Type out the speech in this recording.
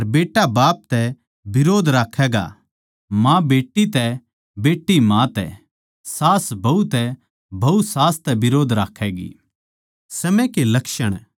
पिता बेट्टे तै अर बेट्टा बाप तै बिरोध राक्खैगा माँ बेट्टी तै अर बेट्टी माँ तै सास्सू बहू तै अर बहू सास्सू तै बिरोध राक्खैगी